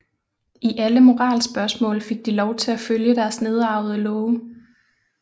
I alle moralspørgsmål fik de lov til at følge deres nedarvede love